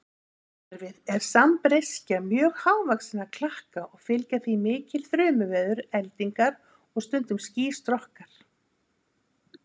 Skýjakerfið er sambreyskja mjög hávaxinna klakka og fylgja því mikil þrumuveður, eldingar og stundum skýstrokkar.